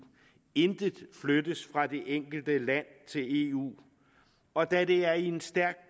intet flyttes fra det enkelte land til eu og da det er i en stærk